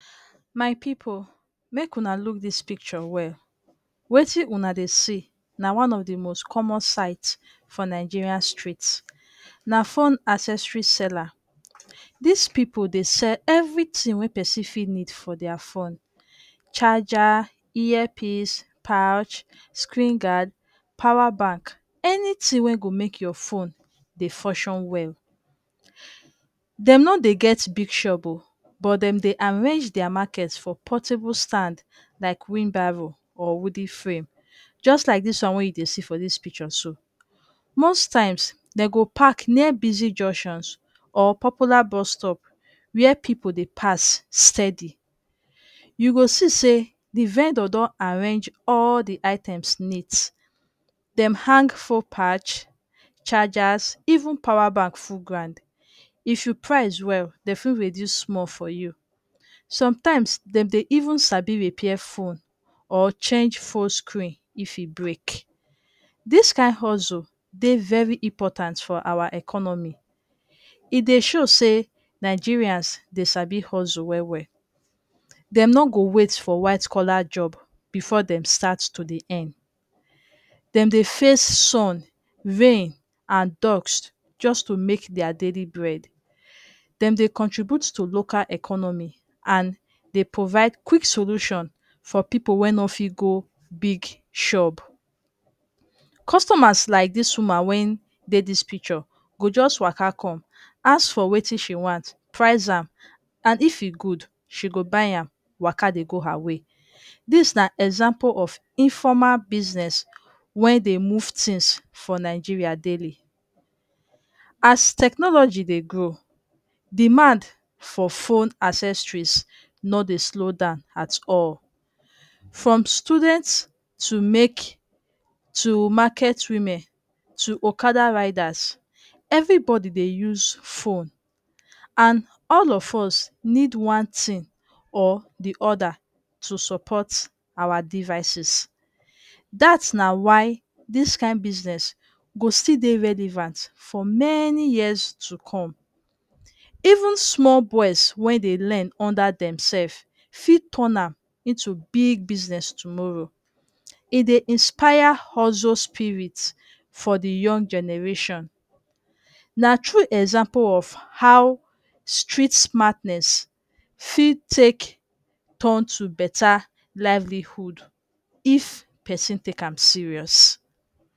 My pipu, make una look dis picture well. Wetin una dey see na one of di most common sights for Nigerian streets. Na fone accessory seller. Dis pipu dey sell evritin wey pesin fit need for dia fone. Charger, earpiece, pouch, screen guard, power bank. Anytin wey go make your fone dey funshon well. Dem no dey get big shop um, but dem dey arrange market for portable stand like wheenbarro or wooden frame. Just like dis one wey you dey see for dis picture so. Most times, dey go pack near busy junctions or popular bus stop wey pipu dey pass steady. You go see say di vendor don arrange all di items neat. Dem hang fone pouch, chargers even power bank full ground. If you price well, dem fit reduce sumol for you. Sometimes, dem dey even sabi repair fone or change fone screen if e break. Dis kain hustle dey very important for awa economy. E dey show say Nigerians dey sabi hustle well well. Dem no go wait for white collar jobs before dem start to dey earn. Dem dey face sun, rain and dust just to dey make dia daily bread. Dem dey contribute to local economy and dey provide quick solution to pipu wey no fit go big shop. Customers like dis woman wen dey dis picture go just waka come, ask for wetin she want, price am and if e good, she go buy am waka dey go her way. Dis na example of informal business wen dey move tins for Nigeria daily. As technology dey grow, demand for phone accessories no dey slow down at all. From student to make to market women to okada riders, evribodi dey use fone and all of us need one tin or di oda to support awa devices. Dat na why dis kain business go still dey relevant for many years to come. Even sumol bois wen dey learn under demsef fit turn am into big business tomorrow. En dey inspire hustle spirit for di young generation. Na true example of how street smartness fit take turn to better livelihood if pesin take am serious.